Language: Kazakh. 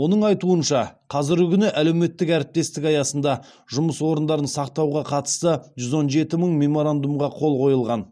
оның айтуынша қазіргі күні әлеуметтік әріптестік аясында жұмыс орындарын сақтауға қатысты жүз он жеті мың меморандумға қол қойылған